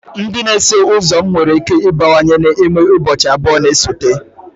Ndị na-eso ụzọ m nwere ike ịbawanye n'ime ụbọchị abụọ na-esote?